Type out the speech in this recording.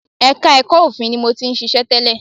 Ẹka ẹ̀kọ́ òfin ni mo ti ṣiṣẹ́ tẹ́lẹ̀.